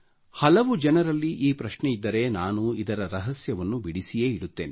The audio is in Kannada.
ಹಲವು ಜನರಲ್ಲಿ ಈ ಪ್ರಶ್ನೆಯಿದ್ದರೆ ನಾನು ಇದರ ರಹಸ್ಯವನ್ನು ಬಿಡಿಸಿಯೇ ಇಡುತ್ತೇನೆ